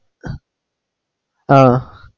ആഹ്